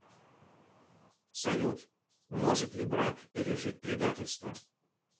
салют может ли брак пережить предательство